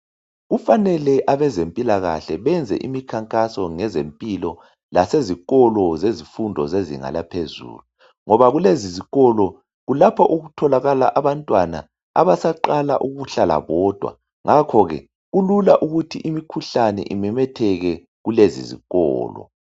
Kufanele abezempilakahle benze imikhankaso ngezempilo lasezikolo zezifundo zezinga laphezulu, ngoba kulezi zikolo kulapho okutholakala abantwana abasaqala ukuhlala bodwa ngakhoke kulula ukuthi imikhuhlane imemetheke kulezi ezikolo.